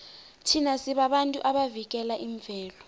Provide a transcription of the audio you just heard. thina sibabantu abavikela imvelo